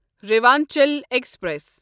Rewanchal express